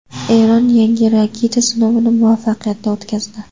Eron yangi raketa sinovini muvaffaqiyatli o‘tkazdi.